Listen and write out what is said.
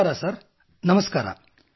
ನಮಸ್ಕಾರ ಸರ್ ನಮಸ್ಕಾರ